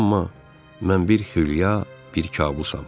Amma mən bir xülya, bir kabusam.